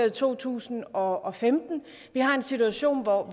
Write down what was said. i to tusind og femten vi har en situation hvor